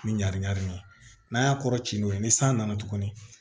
Ni ɲagamini ye n'a y'a kɔrɔ ci n'o ye ni san nana tuguni